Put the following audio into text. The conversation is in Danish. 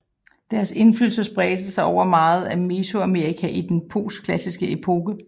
Deres indflydelse spredte sig over meget af Mesoamerika i den postklassiske epoke